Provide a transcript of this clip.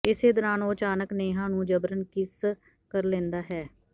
ਇਸੇ ਦੌਰਾਨ ਉਹ ਅਚਾਨਕ ਨੇਹਾ ਨੂੰ ਜਬਰਨ ਕਿੱਸ ਕਰ ਲੈਂਦਾ ਹੈ